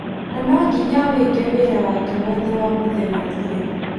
Na no nginya awĩke wĩra wake wothe wa mũthenya ũthire.